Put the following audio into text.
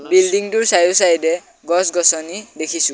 Building টোৰ side এ side এ গছ গছনি দেখিছোঁ।